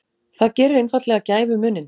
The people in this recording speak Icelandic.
Það gerir einfaldlega gæfumuninn.